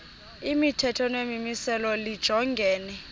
imithetho nemimiselo lijongene